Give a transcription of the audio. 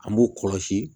An b'u kɔlɔsi